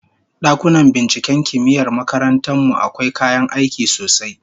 Dakunan binciken kimiyyar makarantar mu akwai kayan aiki sosai